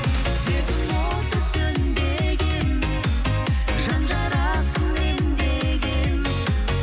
сезім оты сөнбеген жан жарасын емдеген